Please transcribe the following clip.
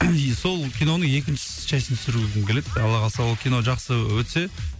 сол киноның екінші частьін түсіргім келеді алла қаласа ол кино жақсы өтсе